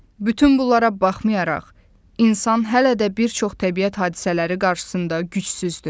Bütün bunlara baxmayaraq, insan hələ də bir çox təbiət hadisələri qarşısında gücsüzdür.